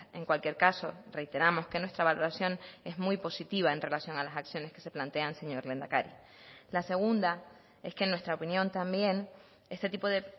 en cualquier caso reiteramos que nuestra valoración es muy positiva en relación a las acciones que se plantean señor lehendakari la segunda es que en nuestra opinión también este tipo de